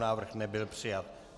Návrh nebyl přijat.